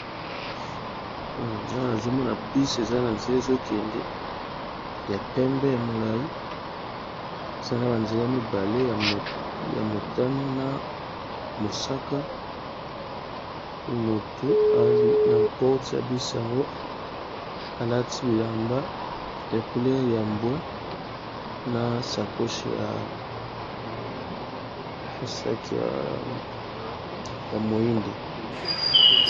Awa namoni bus aza na nzela eza kende ya pembe ya molayi eza ma ba nzela mibale ya motani pe mosaka na porte ya bus wana mutu alati bilamba ya couleur ya mbwe na sac ya moyindo.